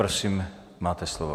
Prosím, máte slovo.